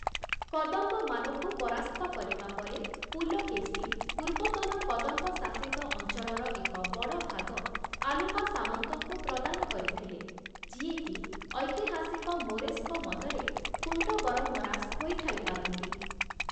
କଦମ୍ବମାନଙ୍କୁ ପରାସ୍ତ କରିବା ପରେ 'ପୁଲକେଶୀ' ପୂର୍ବତନ କଦମ୍ବ ଶାସିତ ଅଞ୍ଚଳର ଏକ ବଡ଼ ଭାଗ ଆଲୁପା ସାମନ୍ତଙ୍କୁ ପ୍ରଦାନ କରିଥିଲେ, ଯିଏକି ଐତିହାସିକ ମୋରେସ୍‌ଙ୍କ ମତରେ, କୁଣ୍ଡବରମ୍ମରାସ ହୋଇଥାଇପାରନ୍ତି ।